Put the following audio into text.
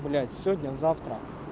блять сегодня завтра